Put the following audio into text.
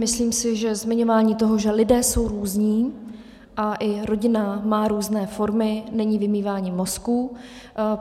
Myslím si, že zmiňování toho, že lidé jsou různí a i rodina má různé formy, není vymývání mozků.